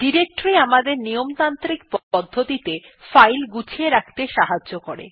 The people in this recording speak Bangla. ডিরেক্টরী আমাদের নিয়মতান্ত্রিক পদ্ধতিতে ফাইল গুছিয়ে রাখতে সাহায্য করে